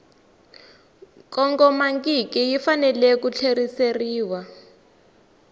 kongomangiki yi fanele ku tlheriseriwa